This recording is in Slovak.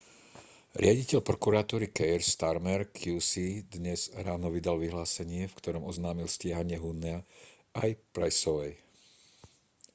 riaditeľ prokuratúry keir starmer qc dnes ráno vydal vyhlásenie v ktorom oznámil stíhanie huhnea aj pryceovej